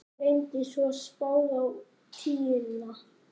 Renndi svo spaða á tíuna.